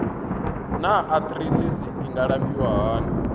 naa arthritis i nga alafhiwa hani